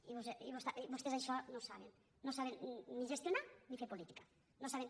i vos·tès d’això no en saben no saben ni gestionar ni fer política no en saben